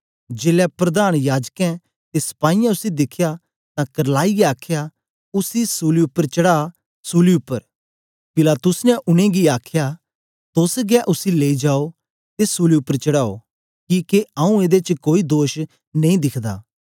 जेलै प्रधान याजकें ते सपाईयें उसी दिखया तां करलाईयै आखया उसी सूली उपर चढ़ा सूली उपर पिलातुस ने उनेंगी आखया तोस गै उसी लेई जाओ ते सूली उपर चढ़ाओ किके आऊँ एदे च कोई दोष नेई दिखदा